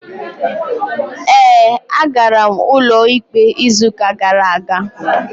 Ee, agara m ụlọikpe izuụka gara aga.